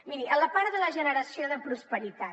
miri a la part de la generació de prosperitat